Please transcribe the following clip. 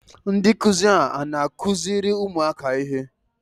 Ndị nkụzi a na-akụziri ụmụaka ihe?